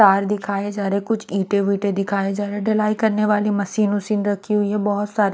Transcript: तार दिखाये जा रहे है कुछ इटे विटे दिखाया जा रहे है डीलाये करने वाली मशीन वशिन रखी हुई है बोहोत सारे --